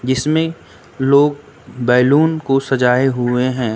इसमें लोग बैलून को सजाए हुए हैं।